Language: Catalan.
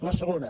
la segona